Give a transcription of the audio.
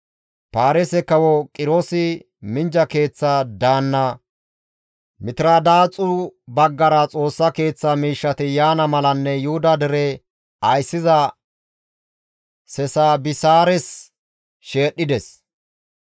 Paarise kawo Qiroosi minjja keeththa daanna Mitiradaaxu baggara Xoossa Keeththa miishshati yaana malanne Yuhuda dere ayssiza Sesabisaares sheedhdhides.